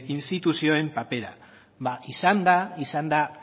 instituzioen papera ba izan da izan da